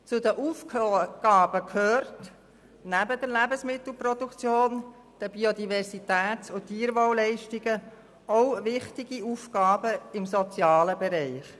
Zu den Aufgaben gehören neben der Lebensmittelproduktion, den Leistungen in Zusammenhang mit der Biodiversität und dem Tierwohl auch wichtige Aufgaben im sozialen Bereich.